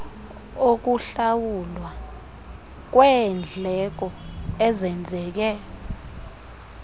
okuhlawulwa kweendleko ezenzeke